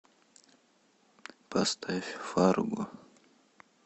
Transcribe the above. поставь фарго